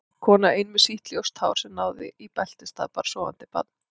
Kona ein með sítt ljóst hár sem náði í beltisstað, bar sofandi barn.